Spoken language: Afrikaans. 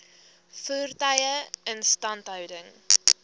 voertuie instandhouding